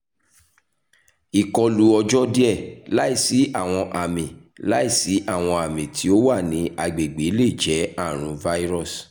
ikọlu ọjọ diẹ laisi awọn ami laisi awọn ami ti o wa ni agbegbe le jẹ arun virus